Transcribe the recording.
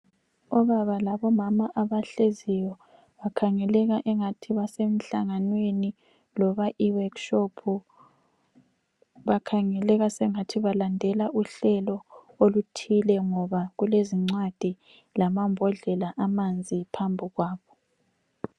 Obaba labomama abahleziyo. Bakhangeleka engathi basemhlanganweni loba iworkshop. Bakhangeleka sengathi balandela uhlelo oluthile ngoba kulezincwadi lamambodlela amanzi phambi kwabo.